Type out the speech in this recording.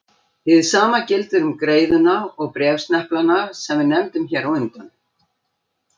Hið sama gildir um greiðuna og bréfsneplana sem við nefndum hér á undan.